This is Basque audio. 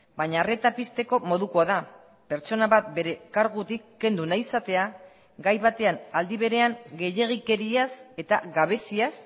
baina arreta pizteko modukoa da pertsona bat bere kargutik kendu nahi izatea gai batean aldi berean gehiegikeriaz eta gabeziaz